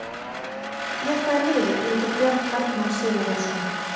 Með hvaða liði leikur Björn Bergmann Sigurðarson?